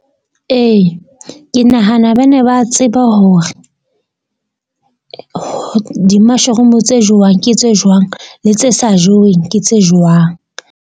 Ee, ke nahana ba ne ba tseba hore di-mushroom-u tse jewang, ke tse jwang le tse sa jeweng ke tse jwang.